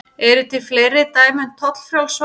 Eru til fleiri dæmi um tollfrjáls svæði?